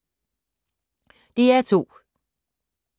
DR2